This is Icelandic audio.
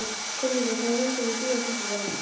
Brigitta, hvaða myndir eru í bíó á fimmtudaginn?